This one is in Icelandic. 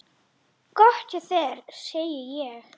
Gott hjá þér, segi ég.